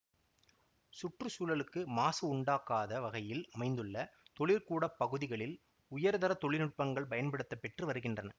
சுற்று சூழலுக்கு மாசுஉண்டாக்காத வகையில் அமைந்துள்ள தொழிற்கூடப் பகுதிகளில் உயர்தரத் தொழில்நுட்பங்கள் பயன்படுத்த பெற்று வருகின்றன